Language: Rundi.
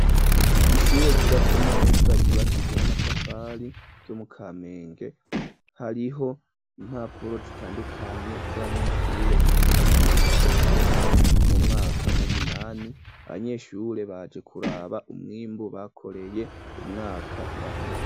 Ishure, ryubatswe neza, ryubakijwe n'amatafari, ryo mu Kamenge; hariho impapuro zitandukanye, z'abanyeshure, biga mu mwaka w'icenda, no mu mwaka w’umunani; abanyeshure baje kuraba, umwimbu bakoreye, umwaka uraheze.